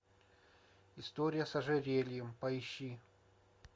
история с ожерельем поищи